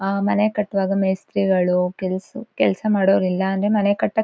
Not only engineers engineers ಜೊತೆಗೆ workers ಕೂಡ ಇರ್ಲೇಬೇಕು.